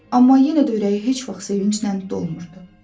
Amma yenə də ürəyi heç vaxt sevinclə dolmurdu.